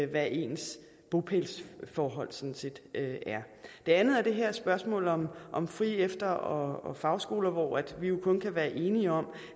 hvad ens bopælsforhold sådan set er det andet er det her spørgsmål om om frie efter og fagskoler hvor vi jo kun kan være enige om